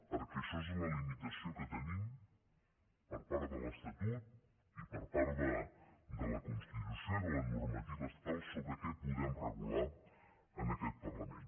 perquè això és la limitació que tenim per part de l’estatut i per part de la constitució i de la normativa estatal sobre què podem regular en aquest parlament